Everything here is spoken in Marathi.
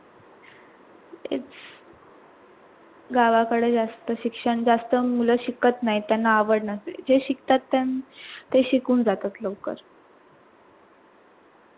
गावाकडे जास्त शिक्षण जास्त मूळ शिकत नाहीत त्यांना आवड नसते जे शिकतात त्यां ते शिकून जातात लवकर